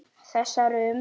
Þessar um